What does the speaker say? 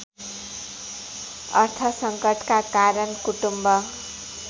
अर्थसङ्कटका कारण कुटुम्ब